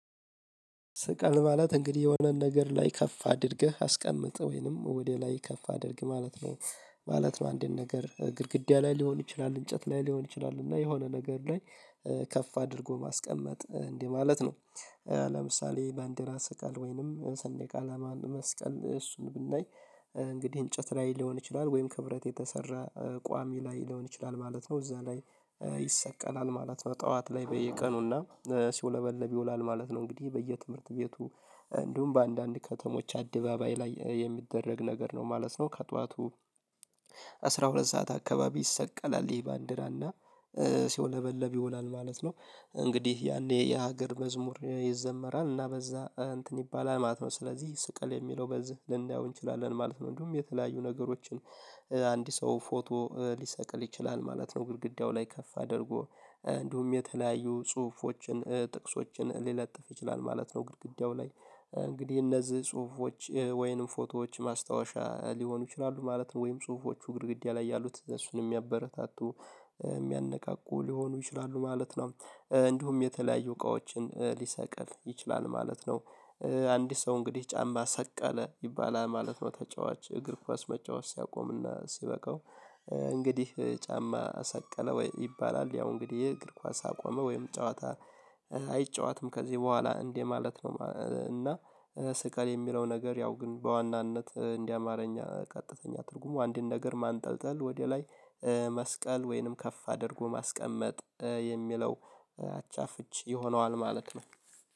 ስቀል ማለት እንግዲህ የሆነን ነገር ላይ ከፍ አድርገህ አስቀምጥ ወይንም ወደ ላይ ከፍ አድርግ ማለት ነው። ማለት ነው አንድን ነገር ግድግዳ ላይ ሊሆን ይችላል እንጨት ላይ ሊሆን ይችላል እና የሆነ ነገር ላይ ከፍ አድርጎ ማስቀመጥ እንዴ ማለት ነው። ለምሳሌ ባንድራ ስቀል ወይንም ሰንዴቅ አላማ መስቀል እሱን ብናይ። እንግዲህ እንጨት ላይ ሊሆን ይችላል ወይም ከብረት የተሰራ ቋሚ ላይ ሊሆን ይችላል ማለት ነው እዛ ላይ ይሰቀላል ማለት ነው። ጠዋት ላይ በየቀኑና ሲወለበልብ ይውላል ማለት ነው። እንግዲህ በየትምህርት ቤቱ እንዲሁም በአንዳንድ ከተሞች አደባባይ ላይ የሚደረግ ነገር ነው ማለት ነው። ከጧቱ አስራ ሁለት ሰዓት አካባቢ ይሰቀላል ይሄ ባንዲራና ሲወለበለብ ይውላል ማለት ነው። እንግዲህ ያኔ የሀገር መዝሙር ይዘመራል እና በዛ እንትን ይባላል ማለት ነው። ስለዚህ ስቀል የሚለው በዚህ ልናየው እንችላለን ማለት ነው። እንዲሁም የተለያዩ ነገሮችን አንድ ሰው ፎቶ ሊሰቅል ይችላል ማለት ነው። ግድግዳው ላይ ከፍ አድርጎ እንዲሁም የተለያዩ ጽሁፎችን ጥቅሶችን ሊለጥፍ ይችላል ማለት ነው። ግድግዳው ላይ እንግዲህ እነዚህ ጽሁፎች ወይንም ፎቶዎች ማስታወሻ ሊሆኑ ይችላሉ ማለት ነው። ወይም ጽሁፎቹ ግድግዳ ላይ ያሉት እነሱን የሚያበረታቱ የሚያነቃቁ ሊሆኑ ይችላሉ ማለት ነው። እንዲሁም የተለያዩ እቃዎችን ሊሰቅል ይችላል ማለት ነው። አንድ ሰው እንግዲህ ጫማ ሰቀለ ይባላል ማለት ነው። ተጫዋች እግር ኳስ መጫወት ሲያቆምና ሲበቃው። እንግዲህ ጫማ ሰቀለ ወይ ይባላል ያው እንግዲህ እግር ኳስ አቆመ ወይም ጨዋታ አይጨዎትም ከዚህ በኋላ እንዴ ማለት ነው። እና ስቀል የሚለው ነገር ያው ግን በዋናነት እንዴ አማርኛ ቀጥተኛ ትርጉሙ አንድን ነገር ማንጠልጠል ወደ ላይ። መስቀል ወይንም ከፍ አድርጎ ማስቀመጥ የሚለው አቻ ፍች ይሆነዋል ማለት ነው።